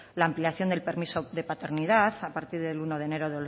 la ampliación del permiso de paternidad a partir del uno de enero